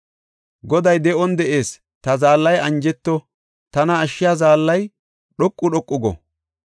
Goday de7on de7ees! Ta zaallay anjeto. Tana ashshiya zaallay dhoqu dhoqu go.